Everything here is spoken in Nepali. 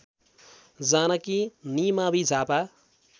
जानकी निमावि झापा